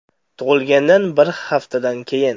Tug‘ilgandan bir haftadan keyin.